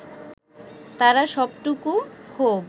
তারা সবটুকু ক্ষোভ